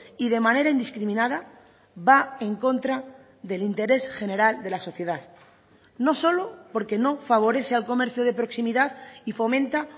y de manera indiscriminada va en contra del interés general de la sociedad no solo porque no favorece al comercio de proximidad y fomenta